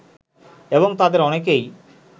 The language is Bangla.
এবং তাদের অনেকেই